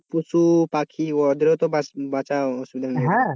পশুপাখি ওদেরও তো বাঁচ বাঁচার অসুবিধা হয়ে যাবে